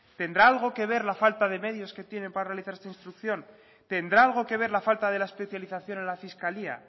tendrá algo que ver la falta de medios que tiene para realizar esta instrucción tendrá algo que ver la falta de la especialización en la fiscalía